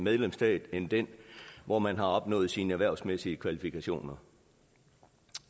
medlemsstat end den hvor man har opnået sine erhvervsmæssige kvalifikationer